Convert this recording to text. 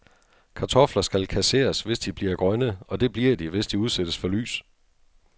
Kartofler skal kasseres, hvis de bliver grønne, og det bliver de, hvis de udsættes for lys.